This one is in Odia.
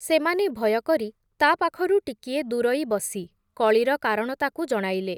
ସେମାନେ ଭୟ କରି, ତା ପାଖରୁ ଟିକିଏ ଦୂରଇ ବସି, କଳିର କାରଣ ତାକୁ ଜଣାଇଲେ ।